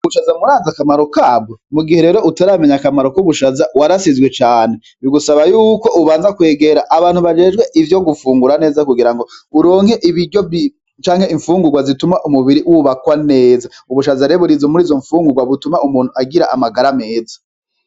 Ubushaza murazi akamaro kabwo? Mugihe rero utaramenya akamaro k'ubushaza, warasizwe cane. Bigusaba yuko ubanza kwegera abantu bajejwe ivyo gufungura neza kugira ngo uronke ibiryo canke imfungurwa zituma umubiri wubakwa neza. Ubushaza rero buri muri izo mfungurwa butuma umuntu agira amagara meza.